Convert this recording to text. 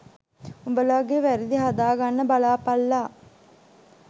උඹලගෙ වැරදි හදා ගන්න බලාපල්ලා